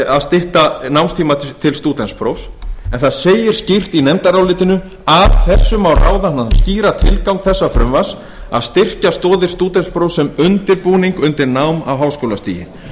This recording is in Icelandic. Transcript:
að stytta námstíma til stúdentsprófs en það segir skýrt í nefndarálitinu af þessu má ráða þann skýra tilgang þessa frumvarps að styrkja stoðir stúdentsprófs sem undirbúning undir nám á háskólastigi